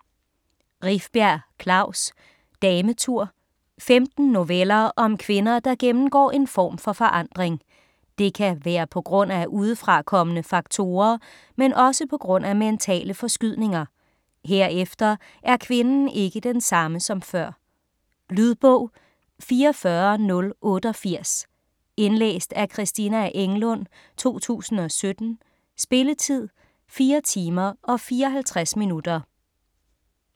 Rifbjerg, Klaus: Dametur Femten noveller om kvinder, der gennemgår en form for forandring. Det kan være pga. udefrakommende faktorer, men også pga. mentale forskydninger. Herefter er kvinden ikke den samme som før. Lydbog 44088 Indlæst af Christina Englund, 2017. Spilletid: 4 timer, 54 minutter.